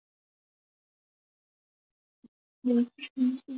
Varðandi siðferðilegt réttmæti þess að birta játningar